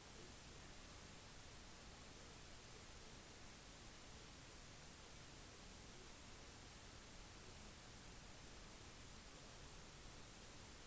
acma fant også ut at til tross for at videoen ble strømmet på internett hadde ikke big brother brutt sensurlovene på internett ettersom ingen media var lagret på